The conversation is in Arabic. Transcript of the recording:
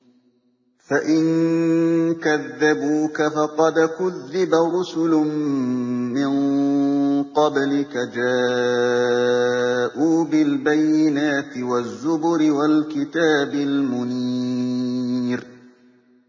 فَإِن كَذَّبُوكَ فَقَدْ كُذِّبَ رُسُلٌ مِّن قَبْلِكَ جَاءُوا بِالْبَيِّنَاتِ وَالزُّبُرِ وَالْكِتَابِ الْمُنِيرِ